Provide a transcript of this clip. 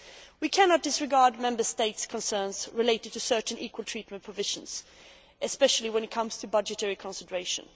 We cannot disregard Member States' concerns relating to certain equal treatment provisions, especially when it comes to budgetary concentration.